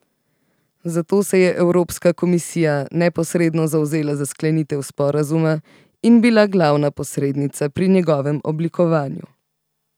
Zato se je evropska komisija neposredno zavzela za sklenitev sporazuma in bila glavna posrednica pri njegovem oblikovanju.